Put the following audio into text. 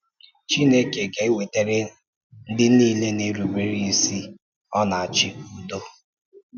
Chineke ga-ewetara ndị niile na-erúbe isi ọ na-achị udo.